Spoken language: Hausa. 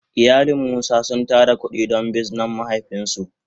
Iyalin musa sun tara kudi don bizinan mahaifin su.